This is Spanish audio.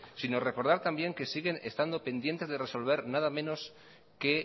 sino recordar también siguen estando pendientes de resolver nada menos que